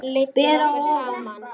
Ber að ofan.